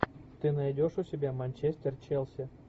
ты найдешь у себя манчестер челси